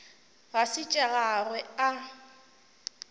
ga se tša gagwe a